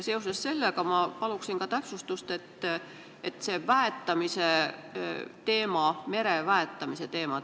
Seoses sellega ma paluksin ka täpsustust mere väetamise teema kohta.